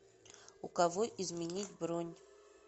у кого изменить бронь